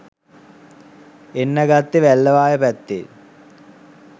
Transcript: එන්න ගත්තෙ වැල්ලවාය පැත්තෙන්.